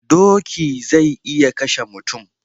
Doki zai iya kashe mutum